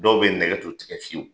Dɔw be ye nɛgɛ t'u tigɛ t'u fiye u